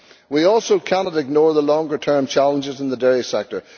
We also cannot ignore the longer term challenges in the dairy sector.